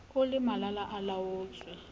o le malala a laotswe